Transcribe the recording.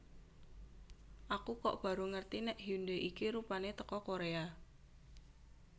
Aku kok baru ngerti nek Hyundai iki rupane teko Korea